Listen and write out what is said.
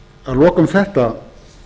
að lokum þetta